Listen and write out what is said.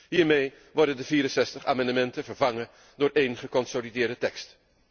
Hiermee worden de 64 amendementen vervangen door één geconsolideerde tekst.